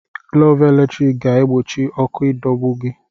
Glọvụ eletrik ga-egbochi ọkụ ịdọ gị.